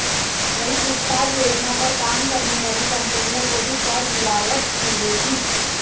वहीं विस्तार योजना पर काम करने वाली कंपनियों को भी कर रियायत मिलेगी